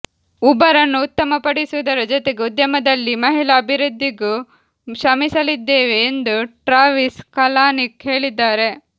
Uber ಅನ್ನು ಉತ್ತಮಪಡಿಸುವುದರ ಜೊತೆಗೆ ಉದ್ಯಮದಲ್ಲಿ ಮಹಿಳಾ ಅಭಿವೃದ್ಧಿಗೂ ಶ್ರಮಿಸಲಿದ್ದೇವೆ ಎಂದು ಟ್ರಾವಿಸ್ ಕಲಾನಿಕ್ ಹೇಳಿದ್ದಾರೆ